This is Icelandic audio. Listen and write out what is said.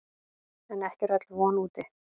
En ekki er öll von úti.